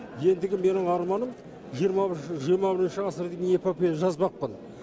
ендігі менің арманым жиырма бірінші ғасырдың эпопея жазбақпын